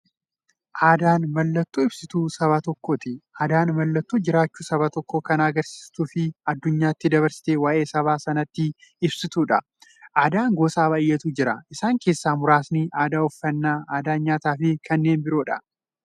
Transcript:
Aadaan mallattoo ibsituu saba tokkooti. Aadaan mallattoo jiraachuu saba tokkoo kan agarsiistufi addunyyaatti dabarsitee waa'ee saba sanaa ibsituudha. Aadaan gosa baay'eetu jira. Isaan keessaa muraasni aadaa uffannaa, aadaa nyaataafi kan biroo.